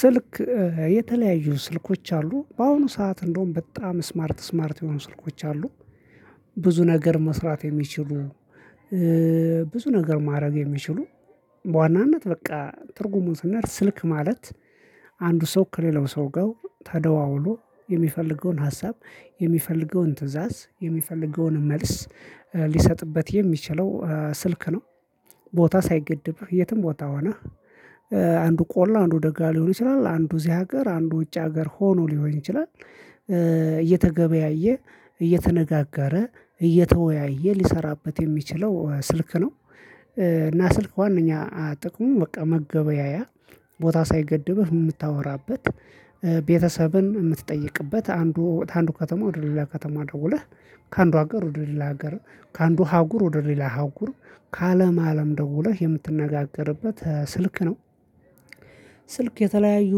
ስልክ የተለያዩ ስልኮች አሉ በአሁኑ ሰዓት እንደውም በጣም ስማርት ስማርት የሆኑ ስልኮች አሉ። ብዙ ነገር መስራት የሚችሉ ብዙ ነገር ማድረግ የሚችሉ በዋናነት በቃ ትርጉሙን ስንሄድ ስልክ ማለት አንዱ ሰው ከሌላው ሰው ጋው ተደዋውሎ የሚፈልገውን ሀሳብ የሚፈልገውን ትእዛዝ የሚፈልገውን መልስ ሊሰጥበት የሚችለው ስልክ ነው። ቦታ ሳይገድብህ የትም ቦታ ሆነህ አንዱ ቆላ አንዱ ደጋ ሊሆን ይችላል አንዱ እዚህ ሀገር አንዱ ውጭ ሀገር ሆኖ ሊሆን ይችላል። እየተገበያየ እየተነጋገረ እየተወያየ ሊሰራበት የሚችለው ስልክ ነው። እና ስልክ ዋናኛ ጥቅሙ በቃ መገበያያ ቦታ ሳይገድብህ የምታወራበት ቤተሰብን የምትጠይቅበት አንዱ ከአንዱ ከተማ ወደ ሌላ ከተማ ደውለህ ከአንዱ ሀገር ወደ ሌላ ሀገር ከአንዱ አሀጉር ወደ ሌላ አሀጉር ከአለም አለም ደውለህ የምትነጋገርበት ስልክ ነው። ስልክ የተለያዩ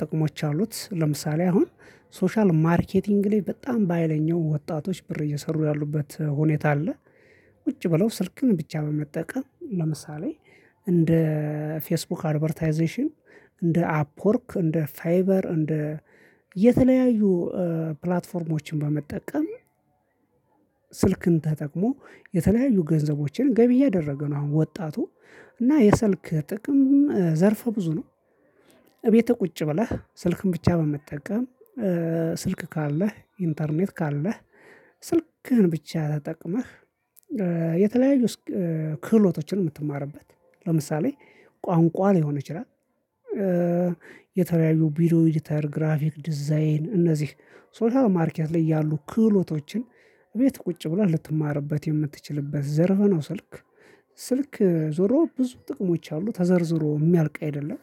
ጥቅሞች አሉት ለምሳሌ አሁን ሶሻል ማርኬቲንግ ላይ በጣም ባሀይለኛው ወጣቶች ብር እየሰሩ ያሉበት ሁኔታ አለ። ቁጭ ብለው ስልክን ብቻ በመጠቀም ለምሳሌ እንደ ፌስቡክ አድቨርታይዜሽን እንደ አፕወርክ እንደ ፋይበር እንደ የተለያዩ ፕላትፎርሞችን በመጠቀም ስልክን ተጠቅሞ የተለያዩ ገንዘቦችን ገቢ እያደረገ ነው አሁን ወጣቱ እና የሰልክ ጥቅም ዘርፍ ብዙ ነው። እቤትህ ቁጭ ብለህ ስልክን ብቻ በመጠቀም ስልክ ካለህ ኢንተርኔት ካለህ ስልክህን ብቻ ተጠቅመህ የተለያዩ ክህሎቶችን የምትማርበት ለምሳሌ ቋንቋ ሊሆን ይችላል። የተለያዩ ቪዲዮ ኤዲተር ግራፊክ ዲዛይን እነዚህ ሶሻል ማርኬት ላይ ያሉ ክህሎቶችን እቤት ቁጭ ብለህ ልትማርበት የምትችልበት ዘርፈ ነው። ስልክ ስልክ ዞሮ ብዙ ጥቅሞች አሉ ተዘርዝሮ የሚያልቅ አይደለም።